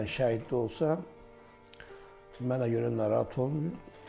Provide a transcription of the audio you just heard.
Mən şəhid də olsam, mənə görə narahat olmayın.